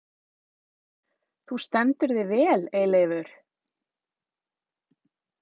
Þú stendur þig vel, Eyleifur!